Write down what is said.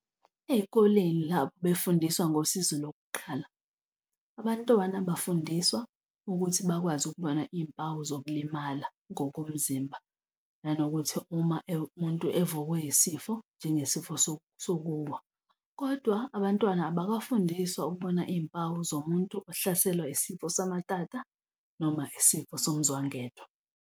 Ey'koleni lapho befundiswa ngosizo lokuqala, abantwana bafundiswa ukuthi bakwazi ukubona iy'mpawu zokulimala ngokomzimba nanokuthi uma umuntu evukwe yisifo, njengesifo sokuwa, kodwa abantwana abakafundiswa ukubona iy'mpawu zomuntu ohlaselwa isifo samatata noma isifo somzwangedwa.